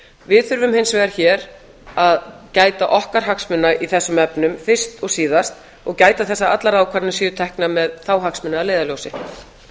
við þurfum hins vegar hér að gæta okkar hagsmuna í þessum efnum fyrst og síðast og gæta þess að allar ákvarðanir séu teknar með þá hagsmuni að leiðarljósi